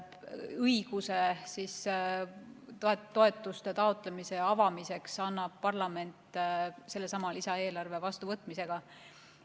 Õiguse toetuse taotlemise avamiseks annab parlament sellesama lisaeelarve vastuvõtmisega.